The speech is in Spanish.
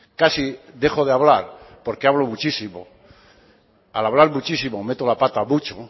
casi dejo de hablar porque hablo muchísimo al hablar muchísimo meto la pata mucho